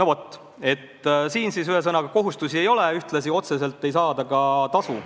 Ja kui kohustusi ei ole, siis otseselt ei saada ka tasu.